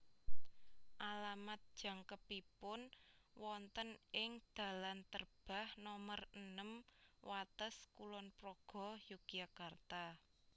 Alamat jangkepipun wonten ing dalan Terbah nomer enem Wates Kulon Progo Yogyakarta